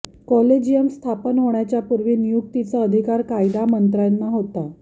collegium स्थापन होण्याच्या पूर्वी नियुक्तीचा अधिकार कायदा मंत्र्यांना होता